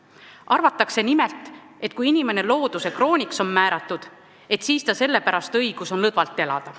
Arvatakse nimelt, et kui inimene looduse krooniks on määratud, et siis tal sellepärast õigus on lõdvalt elada.